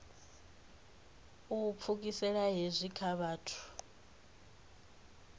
u pfukisela hezwi kha vhathu